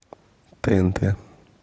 тнт